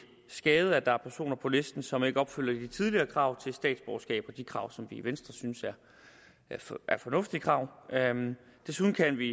skade at der er personer på listen som ikke opfylder de tidligere krav til statsborgerskab og de krav som vi i venstre synes er fornuftige krav desuden kan vi